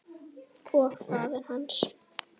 Og faðir hans?